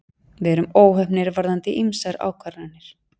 Við vorum óheppnir varðandi ýmsar ákvarðanir